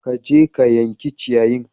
Ka je ka yanke ciyayin!